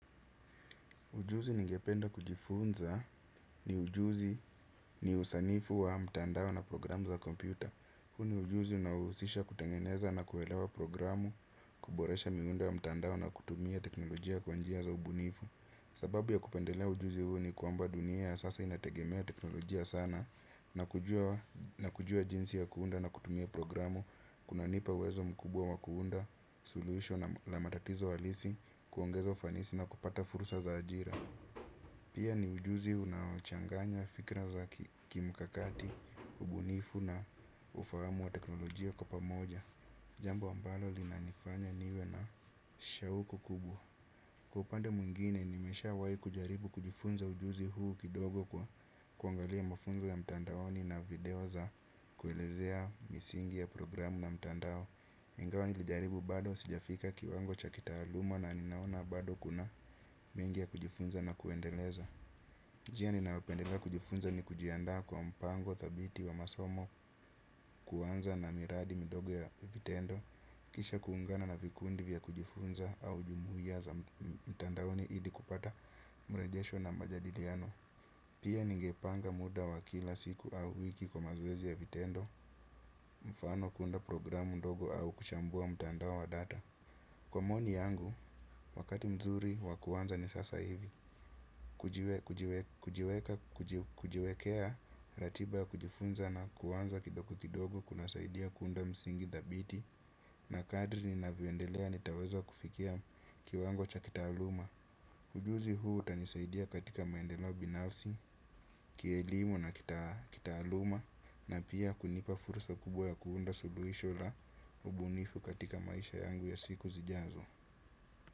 Ujuzi ningependa kujifunza ni ujuzi ni usanifu wa mtandao na programu za kompyuta. Huu ni ujuzi unaohusisha kutengeneza na kuelewa programu kuboresha miundo wa mtandao na kutumia teknolojia kwa njia za ubunifu. Sababu ya kupendelea ujuzi huu ni kwamba dunia ya sasa inategemea teknolojia sana na kujua jinsi ya kuunda na kutumia programu. Kuna nipa uwezo mkubwa wa kuunda solution la matatizo halisi kuongeza ufanisi na kupata fursa za ajira. Pia ni ujuzi unaochanganya fikra za kimkakati, ubunifu na ufahamu wa teknolojia kwa pamoja. Jambo ambalo lina nifanya niwe na shawuku kubwa. Kwa upande mwingine, nimesha wahi kujaribu kujifunza ujuzi huu kidogo kwa kuangalia mafunzo ya mtandaoni na video za kuelezea misingi ya programu na mtandao. Ingawa nilijaribu bado sijafika kiwango cha kitaaluma na ninaona bado kuna mengi ya kujifunza na kuendeleza. Njia ninayopendela kujifunza ni kujiandaa kwa mpango dhabiti wa masomo kuanza na miradi mdogo ya vitendo, kisha kuungana na vikundi vya kujifunza au jumuiya za mtandaoni ili kupata mrejesho na majadiliano. Pia ningepanga muda wa kila siku au wiki kwa mazoezi ya vitendo, mfano kuunda programu ndogo au kuchambua mtandao wa data. Kwa maoni yangu, wakati mzuri wa kuanza ni sasa hivi, kujiwekea ratiba ya kujifunza na kuanza kidogo kidogo kuna saidia kuunda msingi dhabiti na kadri ninavyoendelea nitaweza kufikia kiwango cha kitaaluma. Ujuzi huu hutanisaidia katika maendeleo binafsi, kielimu na kitaaluma na pia kunipa fursa kubwa ya kuunda suluhisho la ubunifu katika maisha yangu ya siku zijazo.